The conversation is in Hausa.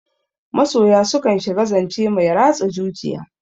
Masoya su kan shiga zance mai ratsa zuciya.